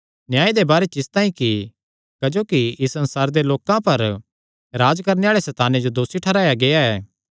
न्याय दे बारे च इसतांई कि क्जोकि इस संसारे दे लोकां पर राज्ज करणे आल़े सैताने जो दोसी ठैहराया गेआ ऐ